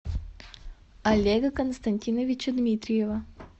олега константиновича дмитриева